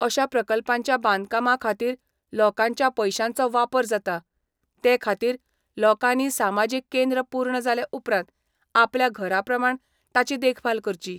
अशा प्रकल्पांच्या बांदकामा खातीर लोकांच्या पैशांचो वापर जाता, ते खातीर लोकांनी सामाजीक केंद्र पूर्ण जाले उपरांत आपल्या घरा प्रमाण ताची देखभाल करची.